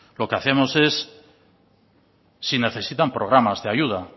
lo que hacemos es si necesitan programas de ayuda